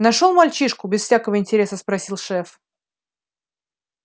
нашёл мальчишку без всякого интереса спросил шеф